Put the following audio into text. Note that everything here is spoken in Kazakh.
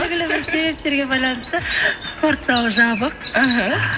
белгілі бір себептерге байланысты спорт зал жабық іхі